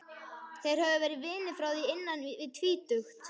Þeir höfðu verið vinir frá því innan við tvítugt.